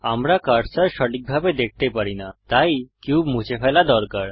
আমরা কার্সার সঠিকভাবে দেখতে পারি না তাই কিউব মুছে ফেলা দরকার